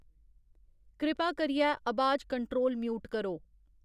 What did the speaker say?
कृपा करियै अबाज कंट्रोल म्यूट करो